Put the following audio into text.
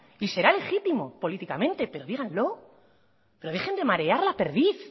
y será legítimo políticamente pero díganlo pero dejen de marear la perdiz